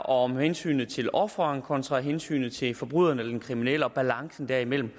om hensynet til offeret kontra hensynet til forbryderen eller den kriminelle og balancen derimellem